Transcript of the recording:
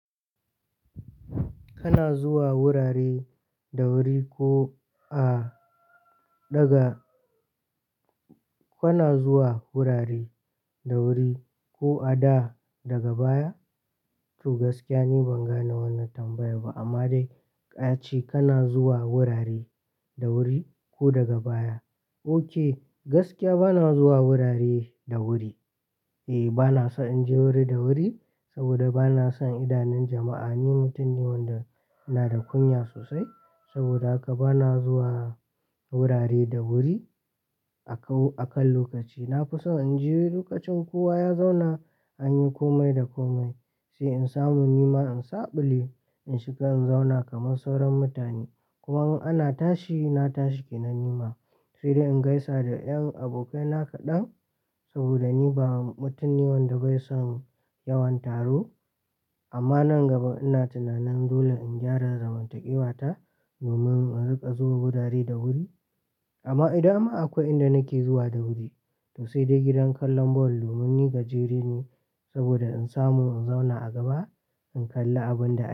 Kana zuwa wurare da wuri ko a daga, kuna zuwa wurare da wuri ko a da daga baya? To gaskiya ni ban gane wannan tambayar ba amma dai ka ce kana zuwa wurare da wuri ko daga baya. Ok gaskiya bana zuwa wurare da wuri. E bana so in je wuri da wuri saboda bana son idanun jama'a. Ni mutum ne wanda ina da kunya sosai saboda haka bana zuwa wurare da wuri a kan lokaci. Na fi so in je lokacin kowa ya zauna an yi komai da komai sai in samu nima in zaɓe in shiga in zauna kamar sauran mutane. Kuma in ana tashi na tashi ke nan nima sai dai in gaisa da ƴan abokaina kaɗan saboda ni ba mutum ne wanda bai son yawan taro amma nan gaba ina tunanin dole in gyara zamantakewa ta domin in riƙa zuwa wurare da wuri. Amma idan kuma akwai inda nake zuwa da wuri to sai dai gidan kallon ball domin ni gajere ne saboda in samu in zauna a gaba in kalli abun da ake.